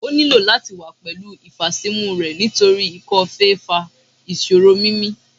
O nilo lati wa pẹlu ifasimu rẹ nitori ikọ-fèé fa iṣoro mimi